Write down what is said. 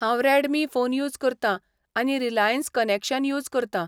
हांव Redmi phone use करतां आनी रिलायंस कनेक्शन यूज करतां.